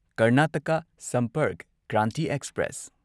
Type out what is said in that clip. Karnataka Sampark Kranti express